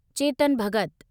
Chetan Bhagat